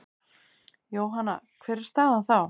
Jóhanna: Hver er staðan þá?